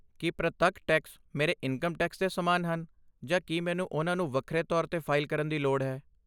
ਕੀ ਪ੍ਰਤੱਖ ਟੈਕਸ ਮੇਰੇ income tax ਦੇ ਸਮਾਨ ਹਨ ਜਾਂ ਕੀ ਮੈਨੂੰ ਉਹਨਾਂ ਨੂੰ ਵੱਖਰੇ ਤੌਰ 'ਤੇ ਫ਼ਾਈਲ ਕਰਨ ਦੀ ਲੋੜ ਹੈ?